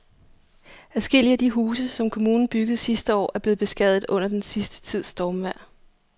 Adskillige af de huse, som kommunen byggede sidste år, er blevet beskadiget under den sidste tids stormvejr.